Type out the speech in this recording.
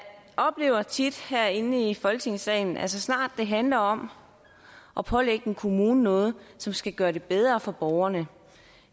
oplever tit herinde i folketingssalen at så snart det handler om at pålægge en kommune noget som skal gøre det bedre for borgerne